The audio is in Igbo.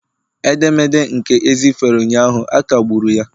Edemede nke e sifere ụnyaahụ, a kagburu ya